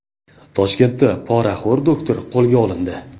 Toshkentda poraxo‘r doktor qo‘lga olindi.